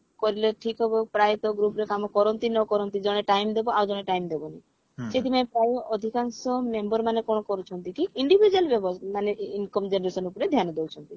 କଲେ ଠିକ ହବ ପ୍ରାୟତଃ group ରେ କାମ କରନ୍ତି ନକରନ୍ତି ଜଣେ time ଡାବ ଆଉ ଜଣେ time ଦବନି ସେଥିପାଇଁ ପ୍ରାୟ ଅଧିକାଂଶ member ମାନେ କଣ କରୁଛନ୍ତି କି individual ବ୍ୟବ ମାନେ income generation ଉପରେ ଧ୍ୟାନ ଦଉଛନ୍ତି